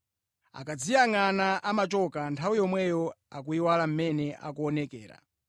Akadziyangʼana amachoka, nthawi yomweyo nʼkuyiwala mmene akuonekera.